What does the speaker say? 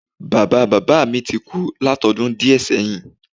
Bàbáa bàbá mi ti kú látodún díè séyìn